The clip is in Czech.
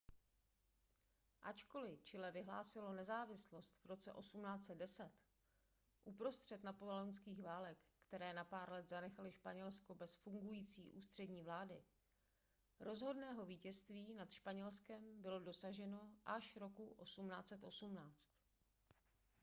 ačkoli chile vyhlásilo nezávislost v roce 1810 uprostřed napoleonských válek které na pár let zanechaly španělsko bez fungující ústřední vlády rozhodného vítězství nad španělskem bylo dosaženo až roku 1818